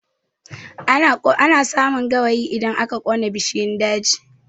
Ana samun gawayi idan aka ƙona bishiyun daji